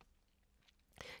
DR K